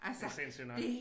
Det sindssygt nok